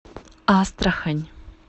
астрахань